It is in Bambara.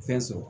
Fɛn sɔrɔ